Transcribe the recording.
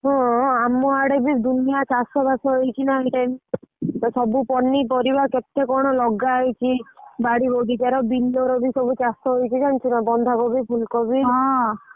ହୋ ଆମ ଆଡେ ବି ଦୁନିଆ ଚାଷ ବାସ ହେଇଛି ଏଇ time ତ ସବୁ ପନିପରିବା କେତେ କଣ ଲଗା ହେଇଛି ବାଡି ବାଗିଚାର ବିଲର ସବୁ ଚାଷ ହେଇକି ନାଁ ଜାଣିଛୁ ନାଁ ବନ୍ଧ କୋବି ଫୁଲ କୋବି ।